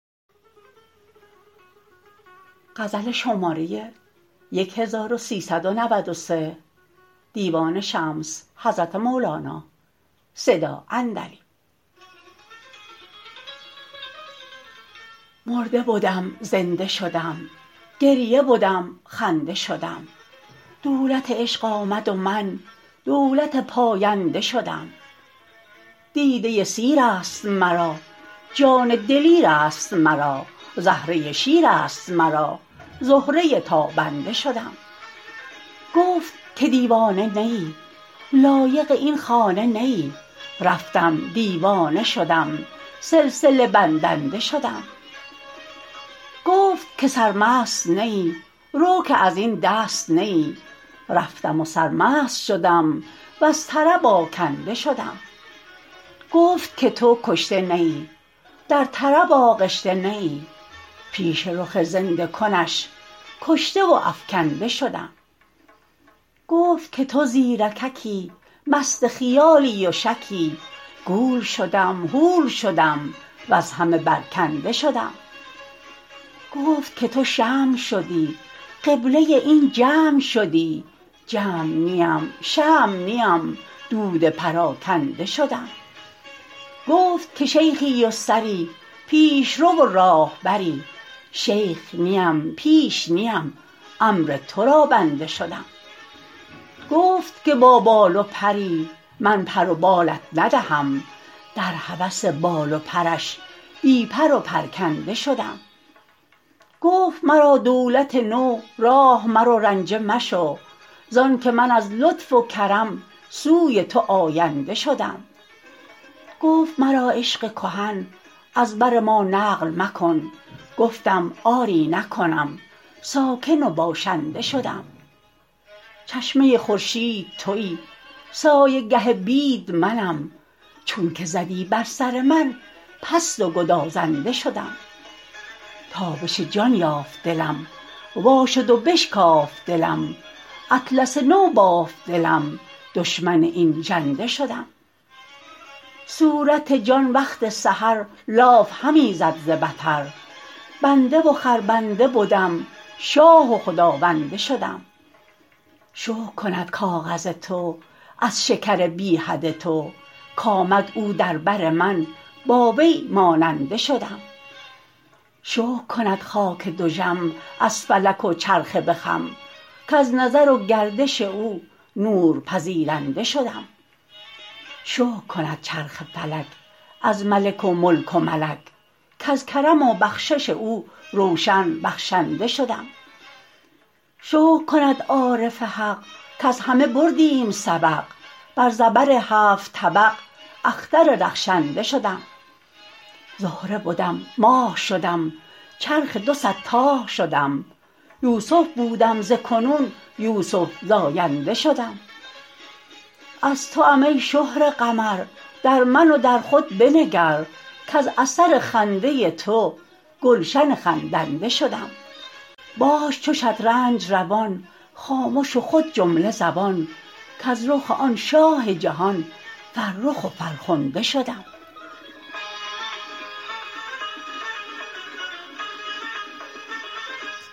مرده بدم زنده شدم گریه بدم خنده شدم دولت عشق آمد و من دولت پاینده شدم دیده سیر است مرا جان دلیر است مرا زهره شیر است مرا زهره تابنده شدم گفت که دیوانه نه ای لایق این خانه نه ای رفتم دیوانه شدم سلسله بندنده شدم گفت که سرمست نه ای رو که از این دست نه ای رفتم و سرمست شدم وز طرب آکنده شدم گفت که تو کشته نه ای در طرب آغشته نه ای پیش رخ زنده کنش کشته و افکنده شدم گفت که تو زیرککی مست خیالی و شکی گول شدم هول شدم وز همه برکنده شدم گفت که تو شمع شدی قبله این جمع شدی جمع نیم شمع نیم دود پراکنده شدم گفت که شیخی و سری پیش رو و راهبری شیخ نیم پیش نیم امر تو را بنده شدم گفت که با بال و پری من پر و بالت ندهم در هوس بال و پرش بی پر و پرکنده شدم گفت مرا دولت نو راه مرو رنجه مشو زانک من از لطف و کرم سوی تو آینده شدم گفت مرا عشق کهن از بر ما نقل مکن گفتم آری نکنم ساکن و باشنده شدم چشمه خورشید تویی سایه گه بید منم چونک زدی بر سر من پست و گدازنده شدم تابش جان یافت دلم وا شد و بشکافت دلم اطلس نو بافت دلم دشمن این ژنده شدم صورت جان وقت سحر لاف همی زد ز بطر بنده و خربنده بدم شاه و خداونده شدم شکر کند کاغذ تو از شکر بی حد تو کآمد او در بر من با وی ماننده شدم شکر کند خاک دژم از فلک و چرخ به خم کز نظر و گردش او نور پذیرنده شدم شکر کند چرخ فلک از ملک و ملک و ملک کز کرم و بخشش او روشن بخشنده شدم شکر کند عارف حق کز همه بردیم سبق بر زبر هفت طبق اختر رخشنده شدم زهره بدم ماه شدم چرخ دو صد تاه شدم یوسف بودم ز کنون یوسف زاینده شدم از توام ای شهره قمر در من و در خود بنگر کز اثر خنده تو گلشن خندنده شدم باش چو شطرنج روان خامش و خود جمله زبان کز رخ آن شاه جهان فرخ و فرخنده شدم